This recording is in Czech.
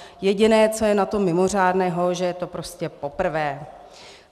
Jediné, co je na tom mimořádného, že je to prostě poprvé.